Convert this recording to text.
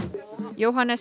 Jóhannes